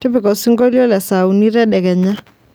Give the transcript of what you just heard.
tipika osingolio le saa uni tadekenya